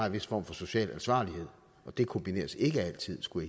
en vis form for social ansvarlighed og det kombineres ikke altid skulle